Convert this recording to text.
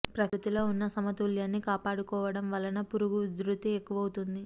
ప్రకృతి లో వున్న సమతుల్యాన్ని కాపాడుకోవటం వలన పురుగు ఉధృతి ఎక్కువవుతోది